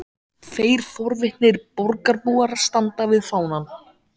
Tveir forvitnir borgarbúar standa við fánann.